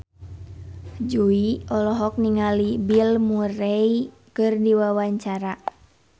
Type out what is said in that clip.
Jui olohok ningali Bill Murray keur diwawancara